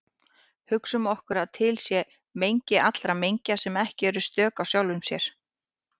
Hugsum okkur að til sé mengi allra mengja sem eru ekki stök í sjálfum sér.